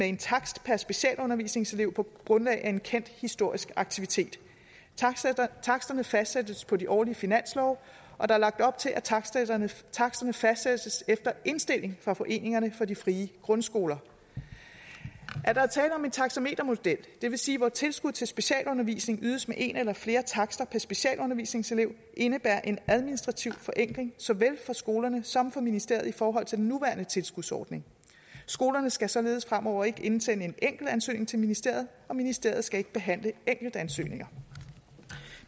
en takst per specialundervisningselev på grundlag af en kendt historisk aktivitet taksterne fastsættes på de årlige finanslove og der er lagt op til at taksterne taksterne fastsættes efter indstilling fra foreningerne for de frie grundskoler at der er tale om en taxametermodel det vil sige hvor tilskud til specialundervisning ydes med en eller flere takster per specialundervisningselev indebærer en administrativ forenkling såvel for skolerne som for ministeriet i forhold til den nuværende tilskudsordning skolerne skal således fremover ikke indsende en enkeltansøgning til ministeriet og ministeriet skal ikke behandle enkeltansøgninger